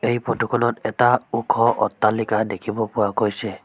এই ফটোখনত এটা ওখ অট্টালিকা দেখিব পোৱা গৈছে।